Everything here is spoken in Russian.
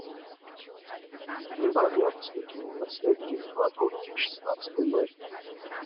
прибавь яркость внутренней подсветки кладовки в шестнадцать ноль ноль